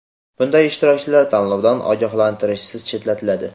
bunday ishtirokchilar tanlovdan ogohlantirishsiz chetlatiladi.